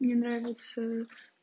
мне нравится